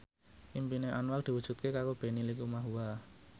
impine Anwar diwujudke karo Benny Likumahua